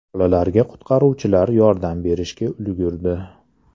Bolalarga qutqaruvchilar yordam berishga ulgurdi.